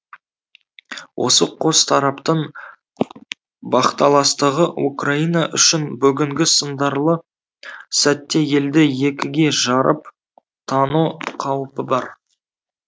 осы қос тараптың бақталастығы украина үшін бүгінгі сындарлы сәтте елді екіге жарып тану қаупі бар